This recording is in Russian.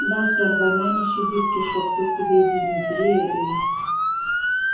да сэр война не щадит кишок тут тебе и дизентерия и